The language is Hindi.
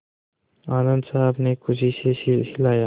आनन्द साहब ने खुशी से सिर हिलाया